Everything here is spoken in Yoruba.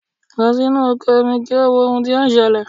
Lọ sínú oko mi kí o wo ohun tí ó ṣẹlẹ̀.!